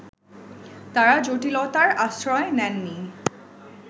তাঁরা জটিলতার আশ্রয় নেননি